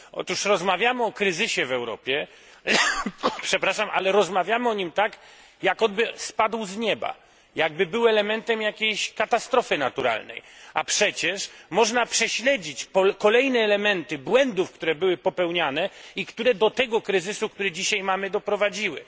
Otóż rozmawiamy o kryzysie w Europie, ale rozmawiamy o nim tak, jakby on spadł z nieba, jakby był elementem jakiejś katastrofy naturalnej, a przecież można prześledzić kolejne elementy błędów, które były popełniane i które do tego kryzysu, który dzisiaj mamy, doprowadziły.